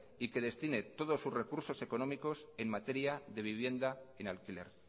y que destine todos sus recursos económicos en materia de vivienda en alquiler